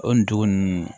O nin dugu ninnu